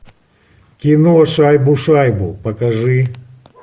кино шайбу шайбу покажи